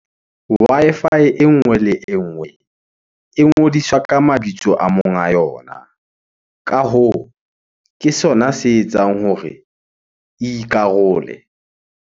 Wi-Fi e nngwe le e nngwe e ngodiswa ka mabitso a monga yona. Ka hoo, ke sona se etsang hore e ikarole.